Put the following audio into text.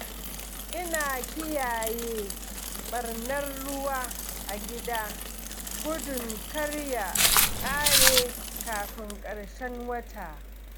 Ina kiyaye ɓannar ruwa a gida gudun kar ya ƙare kafin ƙarshen wata.